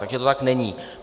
Takže to tak není.